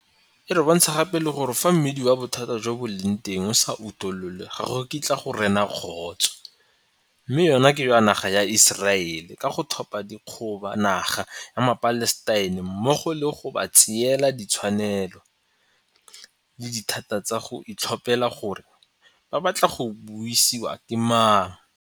E re bontsha gape le gore fa mmidi wa bothata jo bo leng teng o sa utololwe ga go kitla go rena kagiso, mme jona ke jwa naga ya Iseraele ka go thopa ka dikgoka naga ya maPalestina mmogo le go ba tseela ditshwanelo le dithata tsa go itlhophela gore ba batla go busiwa ke mang.